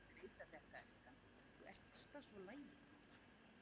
Þú hjálpar mér að skreyta þetta, elskan, þú ert alltaf svo lagin.